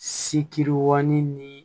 Sikiwa ni ni